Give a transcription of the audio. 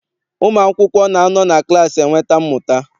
Ụmụ akwụkwọ na anọ na klaasị enweta mmụta.